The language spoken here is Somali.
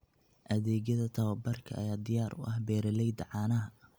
Adeegyada tababarka ayaa diyaar u ah beeralayda caanaha.